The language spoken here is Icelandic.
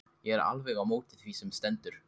Ég er alveg á móti því sem stendur.